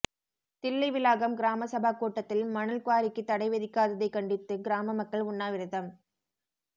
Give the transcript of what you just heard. தில்லைவிளாகம் கிராமசபா கூட்டத்தில் மணல் குவாரிக்கு தடைவிதிக்காததை கண்டித்து கிராம மக்கள் உண்ணாவிரதம்